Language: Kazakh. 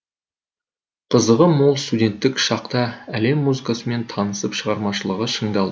қызығы мол студенттік шақта әлем музыкасымен танысып шығармашылығы шыңдалды